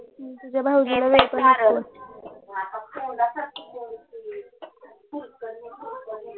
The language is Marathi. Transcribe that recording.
तुझ्या भाऊजीनां सांग